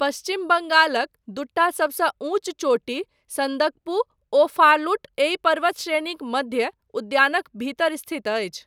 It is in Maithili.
पश्चिम बङ्गालक दूटा सबसँ ऊँच चोटी सन्दक्पु ओ फालुट एहि पर्वत श्रेणीक मध्य उद्यानक भीतर स्थित अछि।